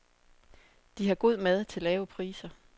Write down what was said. De har god mad til lave priser.